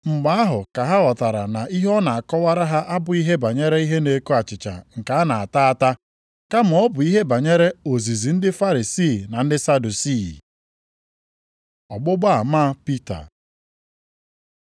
Mgbe ahụ ka ha ghọtara na ihe ọ na-akọwara ha abụghị ihe banyere ihe na-eko achịcha nke a na-ata ata, kama ọ bụ ihe banyere ozizi ndị Farisii na ndị Sadusii. Ọgbụgba ama Pita